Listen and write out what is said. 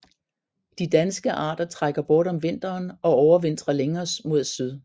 De danske arter trækker bort om vinteren og overvintrer længere mod syd